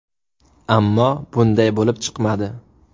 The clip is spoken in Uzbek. Ammo bunday bo‘lib chiqmadi.